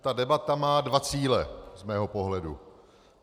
Ta debata má dva cíle z mého pohledu.